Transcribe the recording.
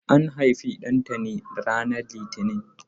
An haifi Ɗantani ranar litini.